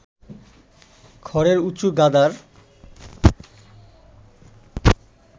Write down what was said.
খড়ের উঁচু গাদার